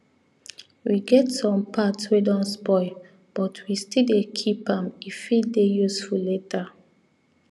we get some part wey don spoil but we still dey keep am e fit dey useful later